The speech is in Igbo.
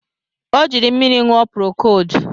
Ọ jiri mmiri ṅụọ prokodu